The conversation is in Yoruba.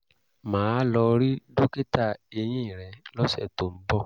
màá lọ rí dókítà eyín rẹ̀ lọ́sẹ̀ tó ń bọ̀